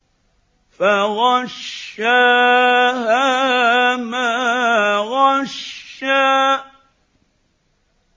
فَغَشَّاهَا مَا غَشَّىٰ